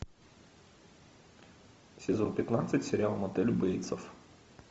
сезон пятнадцать сериал мотель бейтсов